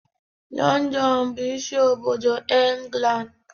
London bụ isi obodo England.